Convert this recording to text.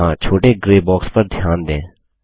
यहाँ छोटे grey box पर ध्यान दें